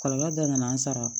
Kɔlɔlɔ dɔ nana an sara